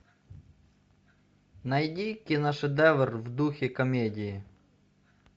найди киношедевр в духе комедии